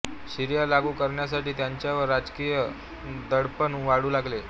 शरिया लागू करण्यासाठी त्यांच्यावर राजकीय दडपण वाढू लागले